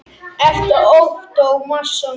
eftir Ottó Másson